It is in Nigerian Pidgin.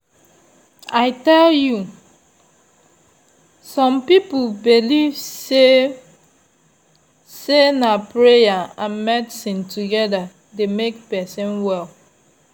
i tell you! some people believe say say na prayer and medicine together dey make person well.